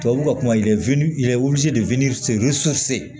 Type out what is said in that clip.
Tubabuw ka kuma ye